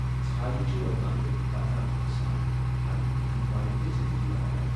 ژھایہ چھِ ووتلان تہٕ بدلان باسان ، پننہِ فند واجینہِ زِندگی بناوان ۔